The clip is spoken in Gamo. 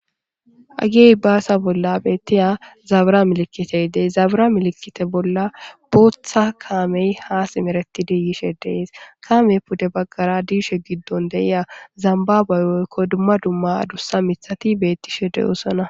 agey baasa bolla bettiya zabra milikitey dey zabra milikite bolla bootha kaamey ha simereti diyishe dees kaamey pude baggara diishe giddon deiya zambabeyoykko dumma dumma adussa mithati bettishe deyoosana